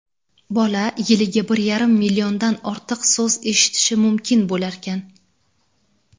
bola yiliga bir yarim milliondan ortiq so‘z eshitishi mumkin bo‘larkan.